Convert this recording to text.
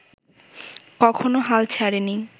কখনো হাল ছাড়েনি